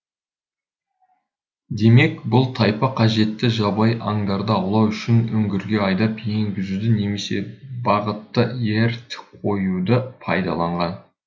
демек бұл тайпа қажетті жабайы аңдарды аулау үшін үңгірге айдап енгізуді немесе бағытты ерт қоюды пайдаланған